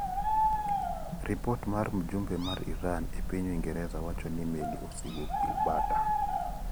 Ripot mar mjumbe mar Iran epiny Uingereza wacho ni meli osewuok Gibraltar.